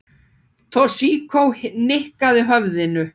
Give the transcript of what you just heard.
Toshizo nikkaði höfðinu.